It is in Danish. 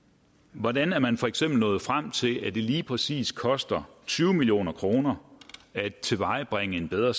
hvordan er man for eksempel nået frem til at det lige præcis koster tyve million kroner at tilvejebringe en bedre